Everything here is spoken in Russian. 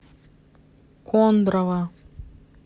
кондрово